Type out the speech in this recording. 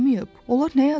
Onlar nə yazırlar?